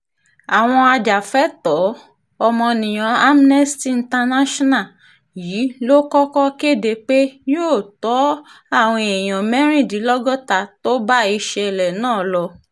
àwọn ajàfẹ́tọ̀ọ́-ọmọnìyàn amnesty international yìí ló kọ́kọ́ kéde pé yóò tọ àwọn èèyàn mẹ́rìndínlọ́gọ́ta tó bá ìṣẹ̀lẹ̀ náà lọ